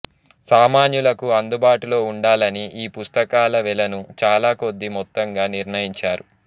సామాన్యులకు అందుబాటులో ఉండాలని ఈ పుస్తకాల వెలను చాలా కొద్ది మొత్తంగా నిర్ణయించారు